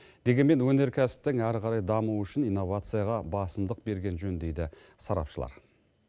дегенмен өнеркәсіптің әрі қарай дамуы үшін инновацияға басымдық берген жөн дейді сарапшылар